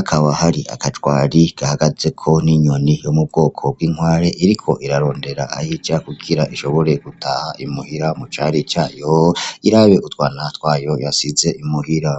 akaba hari agajwari gahagazeko n'inyoni yo mubwoko bw'inkware iriko irarondera aho ija kugira ishobore gutaha imuhira mucari cayo irabe utwana twayo yasize imuhira.